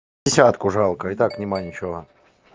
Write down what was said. десятку жалко и так нет ничего